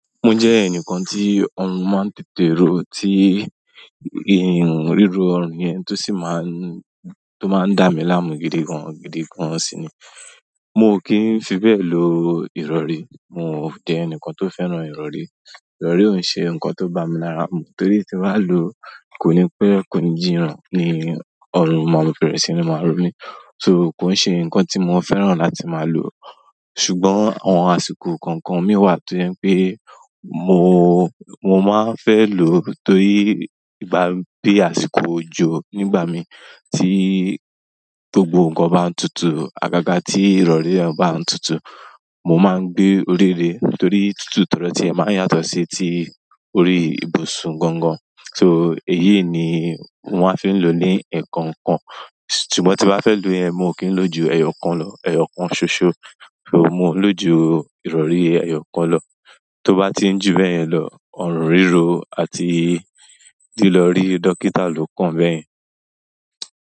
Mo jẹ ẹnìkan tí ọrùn máa n tètè ro, tí riro ọrùn yẹn tó sì máa ń dá mi láàmú gidi gan gidi gan sì ni. Mo kì n fi bẹ́ẹ̀ lo ìrọrí. Mo jẹ ẹnìkan tó fẹ́ràn ìrọrí. Ìrọrí ò n ṣe ǹkan tó bá mi lára mú torí tí n bàá lo, kò ní pẹ̀lú ko ni jína, ni ọrùn máa fi bẹ́rẹ̀ sini màá ro mi so kò ṣe ǹkan tí mo fẹ́ràn láti máa lo. Ṣùgbọ́n àwọn àsìkò kọ̀ọ̀kan mí wà tó jẹ pé mo, mo máa n fẹ́ lò tórí igbá bí àsìkò òjò nígbà mi tí gbogbo ǹkan bá ń tutù, àgàgà tí ìrọrí bá ń tutù, mo máa ń gbé orí lé torí tútù tọdọ ti ẹ máa ń yàtọ̀ sí ti orí ìbùsùn gangan. So, èyí ni mo maa n fi lo ni ẹkọ̀ọ̀kan. Ṣùgbọ́n tí n bá fẹ́ lò yẹn, mo kì n lò ju ẹyọkan lọ, ẹyọ kan ṣoṣọ. So mo n lò jú ìrọrí ẹyọkan lọ. Tó bá ti ń jù bẹ́ẹ̀ yẹn lọ, ọrùn rírọ àti lílọ rí dókítà ló kàn bẹ́ẹ̀ yẹn.